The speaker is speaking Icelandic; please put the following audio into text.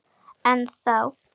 En þá!